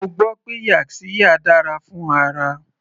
Mo gbọ́ pé yaxiya dára fún ara.